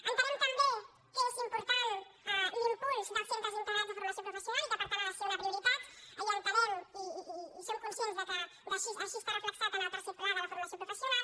entenem també que és important l’impuls dels centres integrats de formació professional i que per tant ha de ser una prioritat i entenem i som conscients que així està reflectit en el tercer pla de la formació professional